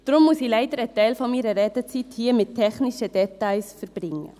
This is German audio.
Deshalb muss ich leider einen Teil meiner Redezeit hier mit technischen Details verbringen.